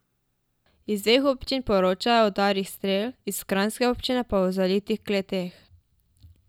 Iz dveh občin poročajo o udarih strel, iz kranjske občine pa o zalitih kleteh.